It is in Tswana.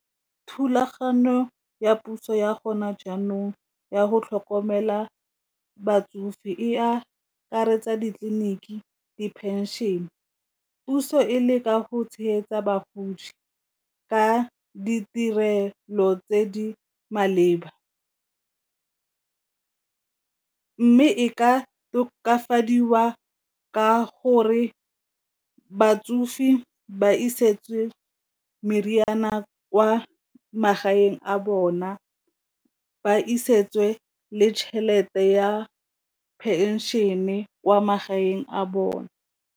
Thulaganyo ya puso ya gone jaanong ya go tlhokomela batsofe e akaretsa ditleliniki, di-pension-e, puso e leka go tshegetsa bagodi ka ditirelo tse di maleba e ka tokafadiwa ka gore batsofe di ba isetse meriana kwa magaeng a bona ba isetse le tšhelete ya pension-e kwa magaeng a bone.